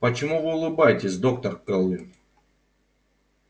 почему вы улыбаетесь доктор кэлвин